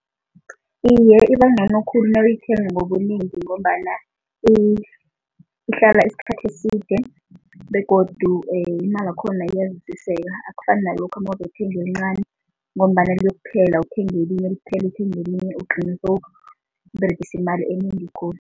Iye, ibangcono khulu nawuyithenga ngobunengi ngombana ihlala isikhathi eside begodu imalakhona iyazwisiseka, akufani nalokha mawozokuthenga elincani ngombana liyokupheka, uthenge elinye liphele, uthenge elinye ugcine sewuberegisa imali enengi khulu.